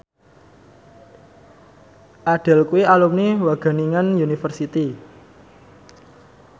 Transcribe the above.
Adele kuwi alumni Wageningen University